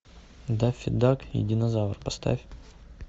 даффи дак и динозавр поставь